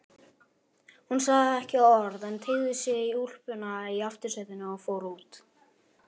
Hún sagði ekki orð en teygði sig í úlpuna í aftursætinu og fór út.